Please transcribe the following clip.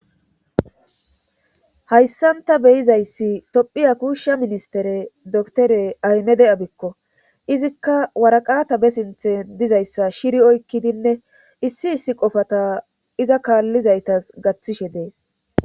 hayssan ta beyizayssi tophiya kuushsha ministere doktere aymede abikko izikka waraqata be sinthe dizayssa shiri oykkidinne issi issi qofata iza kaallizaytas gaththishe dees